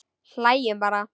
Hlæjum bara.